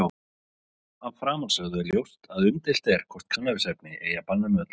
Af framansögðu er ljóst að umdeilt er hvort kannabisefni eigi að banna með öllu.